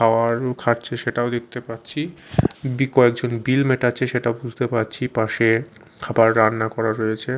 খাওয়ার খাচ্ছে সেটাও দেখতে পাচ্ছি বি কয়েকজন বিল মেটাচ্ছে সেটা বুঝতে পাচ্ছি পাশে খাবার রান্না করা রয়েছে।